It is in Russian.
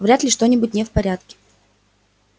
вряд ли что-нибудь не в порядке